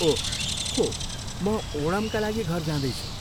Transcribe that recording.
ओह, हो, म ओणमका लागि घर जाँदैछु।